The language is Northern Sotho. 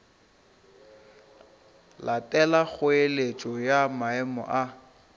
latela kgoeletšo ya maemo a